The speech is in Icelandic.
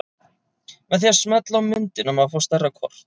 Með því að smella á myndina má fá stærra kort.